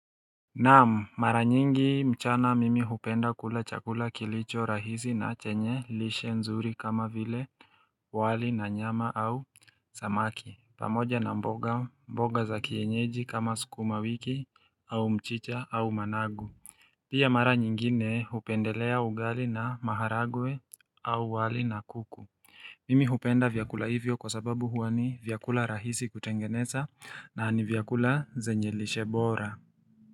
Naam mara nyingi mchana mimi hupenda kula chakula kilicho rahisi na chenye lishe nzuri kama vile wali na nyama au samaki pamoja na mboga mboga za kienyeji kama sukuma wiki au mchicha au managu Pia mara nyingine hupendelea ugali na maharagwe au wali na kuku Mimi hupenda vyakula hivyo kwa sababu huwa ni vyakula rahisi kutengeneza na ni vyakula zenye lishe bora.